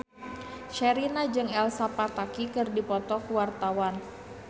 Sherina jeung Elsa Pataky keur dipoto ku wartawan